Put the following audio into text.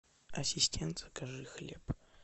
ассистент закажи хлеб